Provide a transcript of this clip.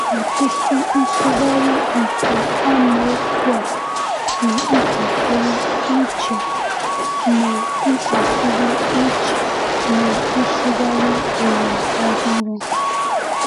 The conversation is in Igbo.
Ọtụtụ nsụgharị nke amaokwu a dị ntakịrị iche na ntakịrị iche na Nsụgharị Ụwa Ọhụrụ.